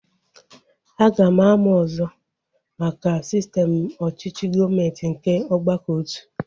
Aga m amụ ọzọ maka sistem ọchịchị gọọmenti nke ọgbakọotu